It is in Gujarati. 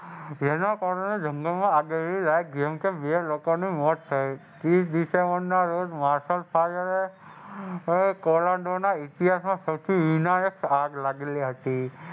તેના કારણે જંગલમાં લાગેલી આગને બે લોકોની મોત થઈ. ત્રીસ ડિસેમ્બરના રોજ ના ઇતિહાસમાં સૌથી આગ લાગેલી હતી.